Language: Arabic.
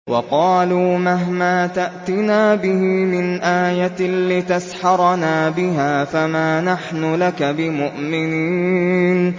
وَقَالُوا مَهْمَا تَأْتِنَا بِهِ مِنْ آيَةٍ لِّتَسْحَرَنَا بِهَا فَمَا نَحْنُ لَكَ بِمُؤْمِنِينَ